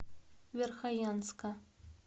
верхоянска